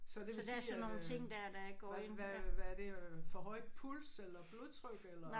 Så det vil sige at øh hvad hvad hvad er det øh for høj puls eller blodtryk eller?